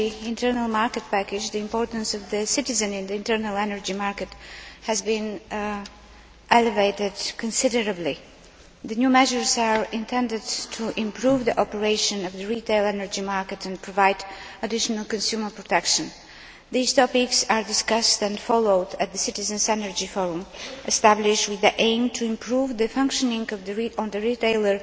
internal energy market package, the importance of the citizen in the internal energy market has been elevated considerably. The new measures are intended to improve the operation of the retail energy market and provide additional consumer protection. These topics are discussed and followed up at the Citizens' Energy Forum, established with the aim of improving the functioning of the retail